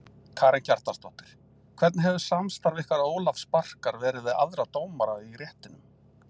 Karen Kjartansdóttir: Hvernig hefur samstarf ykkar Ólafs Barkar verið við aðra dómara í réttinum?